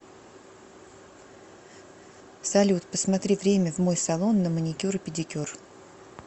салют посмотри время в мой салон на маникюр и педикюр